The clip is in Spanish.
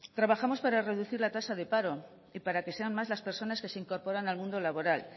trabajamos para reducir la tasa de paro y para que sean más las personas que se incorporan al mundo laboral